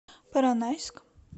поронайск